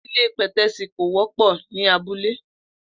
Ilé pè̩té̩sì kò wó̩pò̩ ní abúlé